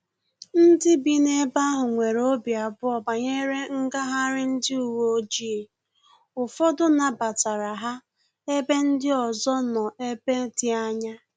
Ndị bi ebe aha nwere obi abụọ banyere ngagharị ndị uwe ojii, ụfọdụ nabatara ha ebe ndị nke ọzọ nọ ebe dị anya